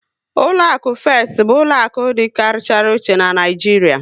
Ụlọakụ Fest bụ ụlọaku dị karịchara ochie n'Naijiria